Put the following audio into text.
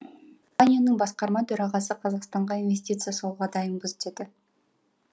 басқарма төрағасы қазақстанға инвестиция салуға дайынбыз деді